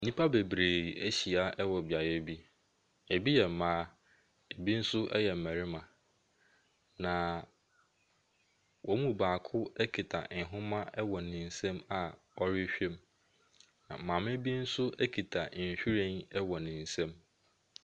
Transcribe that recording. Nnipa bebree ahyia wɔ beaeɛ bi. Ebi yɛ mmaa, ebi nso yɛ mmarima. Na wɔn mu baako kita nhoma wɔ ne nsam a ɔrehwɛ mu. Na maame bi nso kita nhwiren wɔ ne nsam.